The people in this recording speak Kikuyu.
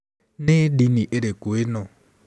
"Nĩ ndini ĩrĩkũ ĩno?